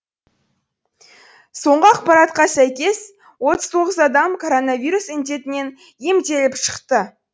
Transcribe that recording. соңғы ақпаратқа сәйкес отыз тоғыз адам коронавирус індетінен емделіп шықты